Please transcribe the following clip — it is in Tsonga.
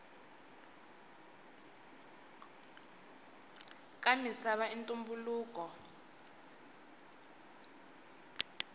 ka misava i ntumbuluko